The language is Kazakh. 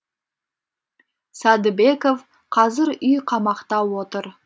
сәдібеков қазір үй қамақта отыр